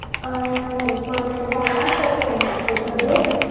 अं नाही first झाला second बाकी आहे तुझे